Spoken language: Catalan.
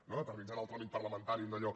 no d’eternitzar en el tràmit parlamentari un dallò